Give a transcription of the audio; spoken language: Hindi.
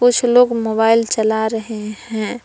कुछ लोग मोबाइल चला रहे हैं।